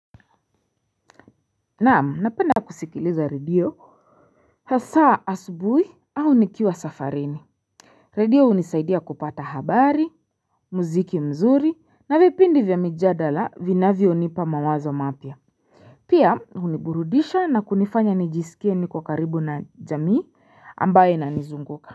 Naam napenda kusikiliza radio hasaa asubuhi au nikiwa safarini Radio hunisaidia kupata habari muziki mzuri na vipindi vya mijadala vinavyo nipa mawazo mapya Piah uniburudisha na kunifanya nijisikie ni kwa karibu na jamii ambayo ina nizunguka.